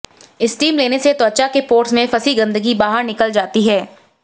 steam लेने से त्वचा के पोर्स में फंसी गंदगी बाहर निकल जाती है